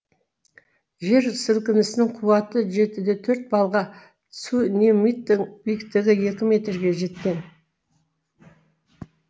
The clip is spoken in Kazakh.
жер сілкінісінің қуаты жеті де төрт балға цунемидтің биіктігі екі метрге жеткен